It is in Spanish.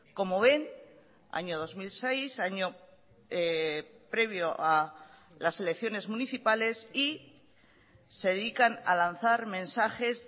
como ven año dos mil seis año previo a las elecciones municipales y se dedican a lanzar mensajes